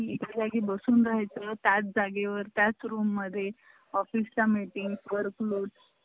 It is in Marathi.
phone आलता तुम्हाला पण लावायचं.